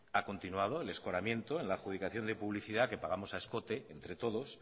ha continuado el escoramiento en la adjudicación de publicidad que pagamos a escote entre todos